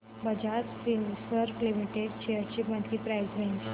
Bajaj Finserv limited shares ची monthly price range